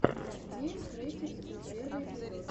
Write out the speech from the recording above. диэм криэйтив скул первый эпизод